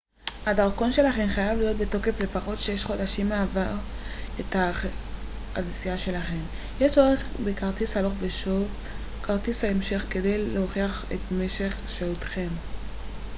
הדרכון שלכם חייב להיות בתוקף לפחות 6 חודשים מעבר לתאריכי הנסיעה שלכם. יש צורך בכרטיס הלוך ושוב/כרטיס המשך כדי להוכיח את משך שהותכם